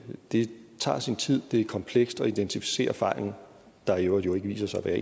det tager sin tid det er komplekst at identificere fejlen der jo i øvrigt viser sig at være